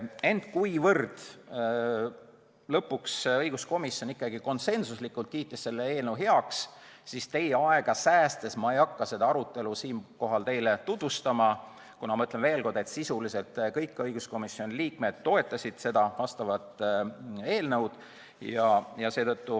Ent kuivõrd lõpuks õiguskomisjon ikkagi konsensuslikult kiitis selle eelnõu heaks, siis ma ei hakka seda arutelu siinkohal teile tutvustama ega teie aega raiskama, sest, ütlen veel kord, sisuliselt kõik õiguskomisjoni liikmed toetasid seda eelnõu.